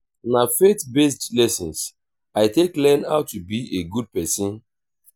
na faith-based lessons i take learn how to be a good pesin.